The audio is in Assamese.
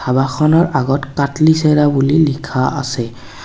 ধাবাখনৰ আগত কাটলিচেৰা বুলি লিখা আছে।